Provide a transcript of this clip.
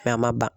a ma ban